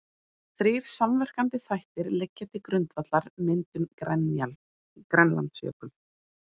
Þrír samverkandi þættir liggja til grundvallar myndun Grænlandsjökuls.